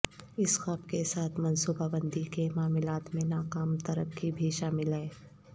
اس خواب کے ساتھ منصوبہ بندی کے معاملات میں ناکام ترقی بھی شامل ہے